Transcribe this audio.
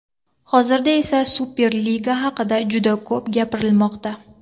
Hozirda esa Superliga haqida juda ko‘p gapirilmoqda.